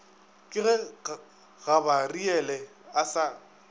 ke ge gabariele a sa